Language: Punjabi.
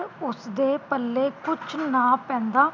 ਉਸਦੇ ਪੱਲੇ ਕੁਝ ਨਾ ਪੈਂਦਾ